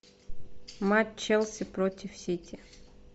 матч челси против сити